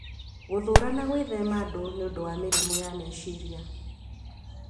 Gũthũũra na gwithema andũ nĩ ũndũ wa mĩrimũ ya meciria